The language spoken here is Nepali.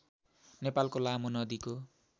नेपालको लामो नदीको